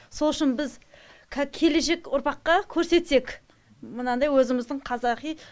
сол үшін біз келешек ұрпаққа көрсетсек мынандай өзіміздің қазақи